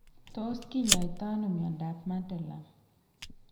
Tos kinyaita ano miondap Madelung?